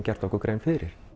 gert okkur grein fyrir